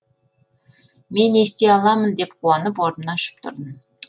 мен ести аламын деп қуанып орнымнан ұшып тұрдым